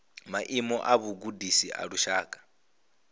maimo a vhugudisi a lushaka